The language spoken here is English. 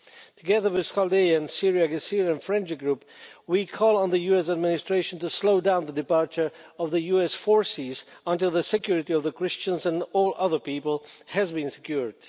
Together with the Chaldeans Syriacs Assyrians Friendship Group, we call on the US administration to slow down the departure of US forces until the security of the Christians and all other people has been secured.